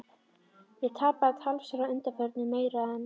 Ég hef tapað talsverðu að undanförnu- meira en